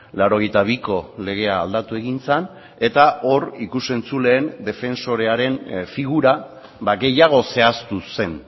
laurogeita biko legea aldatu egin zen eta hor ikus entzuleen defensorearen figura gehiago zehaztu zen